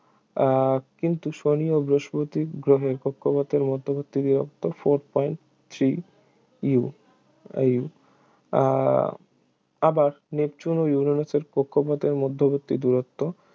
আহ কিন্তু শনি ও বৃহস্পতি গ্রহের কক্ষপথের মধ্যবর্তী দূরত্ব four point three U এই আহ আবার নেপচুন এবং ইউরেনাসের কক্ষপথের মধ্যবর্তী দূরত্ব